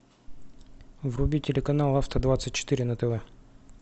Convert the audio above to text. вруби телеканал авто двадцать четыре на тв